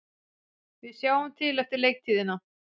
Við sjáum til eftir leiktíðina,